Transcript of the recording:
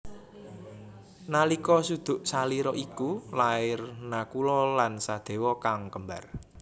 Nalika suduk salira iku lair Nakula lan Sadewa kang kembar